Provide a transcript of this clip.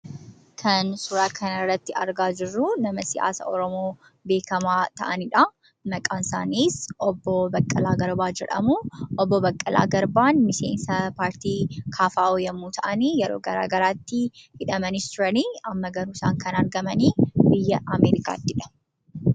Tan suura kana irratti argaa jirru nama siyaasaa Oromoo beekkamaa ta'anidha. Maqaan isaanii Obbo Baqqalaa Garbaa jedhamu. Obbo Baqqalaa Garbaan miseensa paartii KFO yemmuu ta'an yeroo gara garaatti hidhamaa turani amma garuu isaan kan argaman biyya Ameerikaattidha.